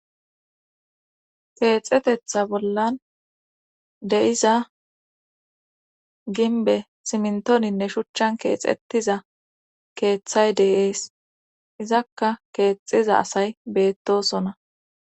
keexxetetha bollan de7iza ginbe simntoninne shuchchan keexettiza keeththay deeees izakka keexiza asay beettosona